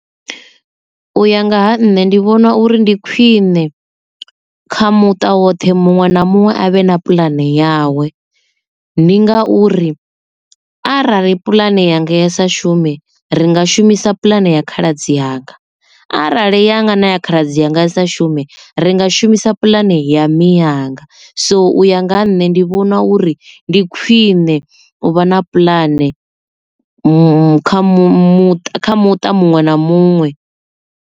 U ya nga ha nṋe ndi vhona uri ndi khwine kha muṱa woṱhe muṅwe na muṅwe a vhe na puḽane yawe, ndi ngauri arali puḽane ya ngei sa shume ringa shumisa puḽane ya khaladzi yanga arali yanga na ya khaladzi anga i sa shume ringa shumisa puḽane ya miyanga so u ya nga ha nṋe ndi vhona uri ndi khwine u vha na puḽane mu kha muṱa kha muṱa muṅwe na muṅwe.